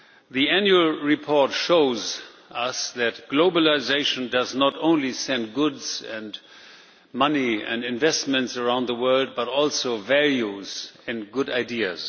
The Annual Report shows us that globalisation does not only send goods and money and investments around the world, but also values and good ideas.